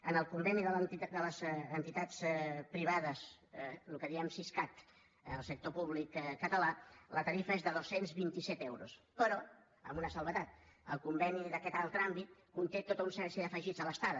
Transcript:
en el conveni de les entitats privades el que en diem siscat al sector públic català la tarifa és de dos cents i vint set euros però amb una excepció el conveni d’aquest altre àmbit conté tota una sèrie d’afegits a l’estada